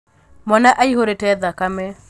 Mwana aihūrīte thakame.